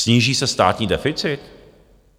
Sníží se státní deficit?